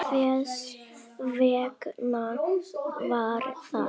Hvers vegna var það?